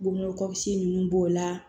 Bon kɔsigi ninnu b'o la